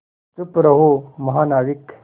चुप रहो महानाविक